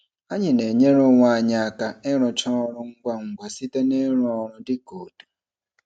Anyị na-enyere onwe anyị aka ịrụcha ọrụ ụlọ ngwa ngwa site n'ịrụ ọrụ dị ka otu.